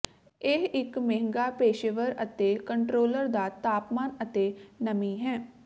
ਇਹ ਇੱਕ ਮਹਿੰਗਾ ਪੇਸ਼ੇਵਰ ਅਤੇ ਕੰਟਰੋਲਰ ਦਾ ਤਾਪਮਾਨ ਅਤੇ ਨਮੀ ਹੈ